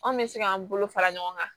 Anw bɛ se k'an bolo fara ɲɔgɔn kan